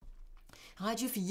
Radio 4